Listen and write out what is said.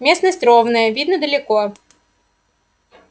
местность ровная видно далеко